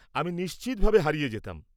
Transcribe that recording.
আমি নিশ্চিতভাবে হারিয়ে যেতাম।